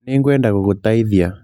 Nĩ ngwenda gũgũteithia